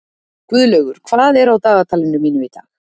Guðlaugur, hvað er á dagatalinu mínu í dag?